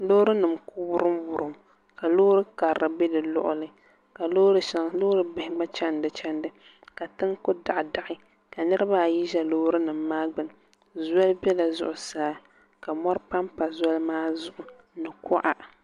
Loori nim n ku wurim wurim ka loori karili bɛ di luɣuli ka loori bihi gba chɛni di chɛndi ka tiŋ ku daɣi daɣi ka niraba ayi ʒɛ Loori nim maa gbuni zoli biɛla zuɣusaa ka mɔri panpa zoli maa zuɣu ni kuɣa